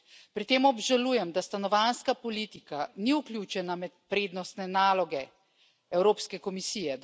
Pri tem obžalujem, da stanovanjska politika ni vključena med prednostne naloge Evropske komisije.